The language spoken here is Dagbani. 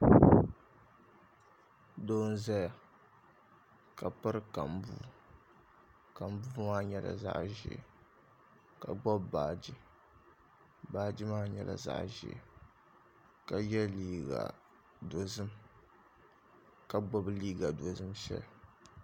Doo n ʒɛya ka piri kambuu kambuu maa nyɛla zaɣ ʒiɛ ka gbubi baaji baaji maa nyɛla zaɣ ʒiɛ ka yɛ liiga dozim ka gbubi liiga dozim shɛli